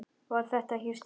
Var þetta ekki Stína?